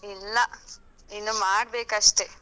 ಇಲ್ಲ, ಇನ್ನು ಮಾಡ್ಬೇಕಷ್ಟೆ.